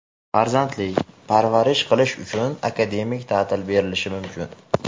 farzandi) parvarish qilish uchun akademik ta’til berilishi mumkin.